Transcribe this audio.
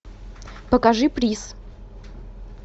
покажи приз